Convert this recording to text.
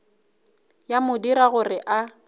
ya mo dira gore a